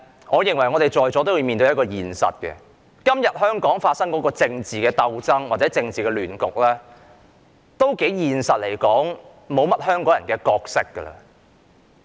我認為在座各位都要面對一個現實，就是在今天香港發生的政治鬥爭或政治亂局中，香港人已經沒有角色。